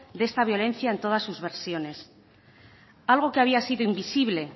de esta violencia en todas sus versiones algo que había sido invisible